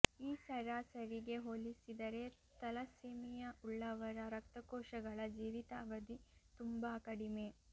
ಈ ಸರಾಸರಿಗೆ ಹೋಲಿಸಿದರೆ ಥಲಸ್ಸೇಮಿಯಾ ಉಳ್ಳವರ ರಕ್ತಕೋಶಗಳ ಜೀವಿತಾವಧಿ ತುಂಬಾ ಕಡಿಮೆ